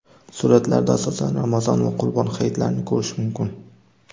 Suratlarda asosan Ramazon va Qurbon hayitlarini ko‘rish mumkin.